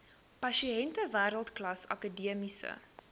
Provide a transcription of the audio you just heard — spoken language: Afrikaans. pasiënte wêreldklas akademiese